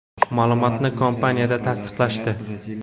Ma’lumotni kompaniyada tasdiqlashdi.